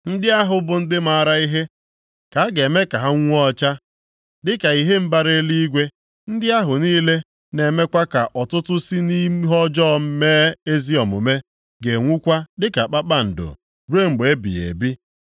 Ndị ahụ bụ ndị maara ihe, ka a ga-eme ka ha nwuo ọcha dịka ihe mbara eluigwe. Ndị ahụ niile na-emekwa ka ọtụtụ si nʼihe ọjọọ mee ezi omume ga-enwukwa dịka kpakpando ruo mgbe ebighị ebi.